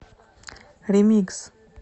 ремикс